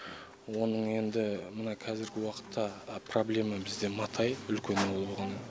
оның енді мына қазіргі уақытта проблема бізде матай үлкен ауыл болған